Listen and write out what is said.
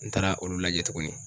N taara olu lajɛ tuguni.